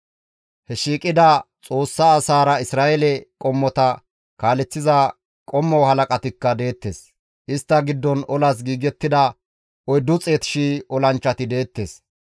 He shiiqida Xoossa asaara Isra7eele qommota kaaleththiza qommo halaqatikka deettes. Istta giddon olas giigettida 400,000 olanchchati deettes.